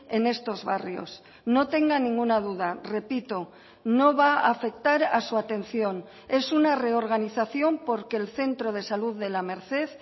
en estos barrios no tenga ninguna duda repito no va a afectar a su atención es una reorganización porque el centro de salud de la merced